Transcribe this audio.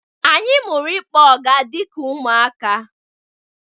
Anyị mụrụ ịkpọ ọga dịka ụmụaka.